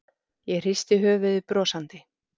Ég hristi höfuðið brosandi.